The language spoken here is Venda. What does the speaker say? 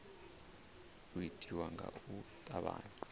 u itiwa nga u tavhanya